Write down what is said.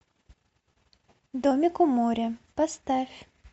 домик у моря поставь